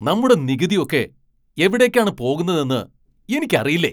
നമ്മുടെ നികുതി ഒക്കെ എവിടേക്കാണ് പോകുന്നതെന്ന് എനിക്കറിയില്ലേ .